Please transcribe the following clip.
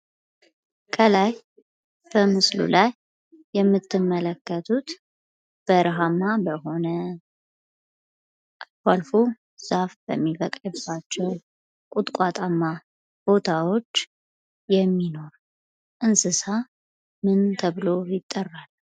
ከላይ በምስሉ ላይ የምትመለከቱት በረሃማ የሆነ ቦታ አልፎ አልፎ ዛፍ የሚበቅልባቸው ቁጥቋጧማ ቦታወች የሚኖር እንስሳ ምን ተብሎ ይጠራል?